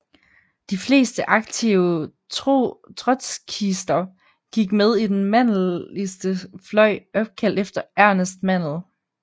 De fleste aktive trotskister gik med i den mandelistiske fløj opkaldt efter Ernest Mandel